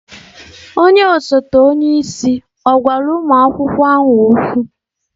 Onye osote onye isi ọ̀ gwara ụmụ akwụkwọ ahụ okwu?